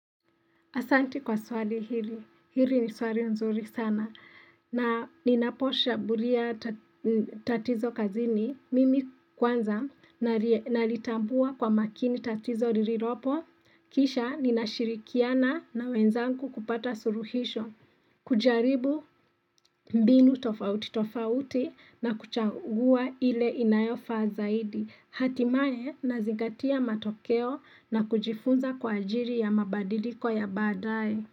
Asanti kwa swali hili. Hili ni swali nzuri sana. Na ninaposhabulia tatizo kazini. Mimi kwanza nalitambua kwa makini tatizo rililopo. Kisha ninashirikiana na wenzangu kupata suruhisho. Kujaribu mbinu tofauti tofauti na kuchagua ile inayofaa zaidi. Hatimaye nazingatia matokeo na kujifunza kwa ajiri ya mabadiliko ya baadaye.